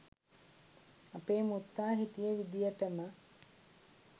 අපේ මුත්තා හිටිය විදියටම